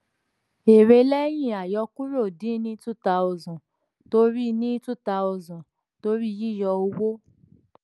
èrè lẹ́yìn àyọkúrò dín ni two thousand torí ni two thousand torí yíyọ owó.